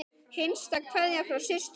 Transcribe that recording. Hinsta kveðja frá systur.